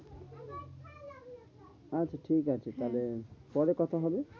আচ্ছা ঠিকাছে হ্যাঁ তাহলে পরে কথা হবে।